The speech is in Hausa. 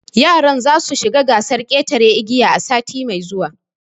Yaran za su shiga gasar ƙetaran igiya sati mai zuwa